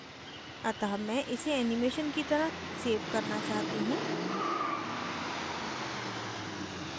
अतः मैं इसे animation की तरह so करना चाहती हूँ